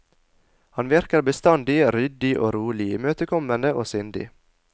Han virker bestandig ryddig og rolig, imøtekommende og sindig.